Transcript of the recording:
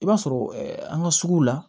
I b'a sɔrɔ an ka sugu la